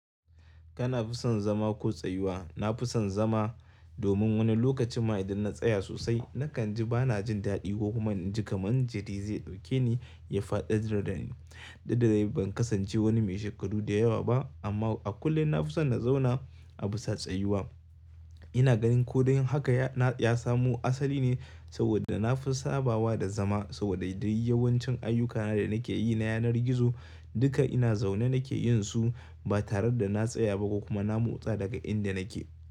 Kana fi son zama ko tsayuwa? Na fi son zama domin wani lokacin ma idan na tsaya sosai nakan ji ba na jin daɗi ko kuma in ji kamar jiri zai ɗauke ni ya faɗar dani. Duk da dai ban kasance wani mai shekaru da yawa ba amma a kullum na fi son na zauna a bisa tsayuwa. Ina ganin ko dan haka ya samu asali ne saboda na fi sabawa da zama saboda duk yawancin ayyukana da nake yi na yanar gizo duka ina zaune nake yin su ba tare da na tsaya ba ko kuma na motsa daga inda nake.